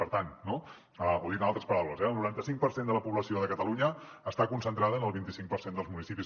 per tant no o dit en altres paraules eh el noranta cinc per cent de la població de catalunya està concentrada en el vint cinc per cent dels municipis